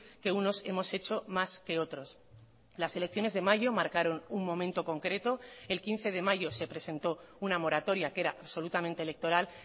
que unos hemos hecho más que otros las elecciones de mayo marcaron un momento concreto el quince de mayo se presentó una moratoria que era absolutamente electoral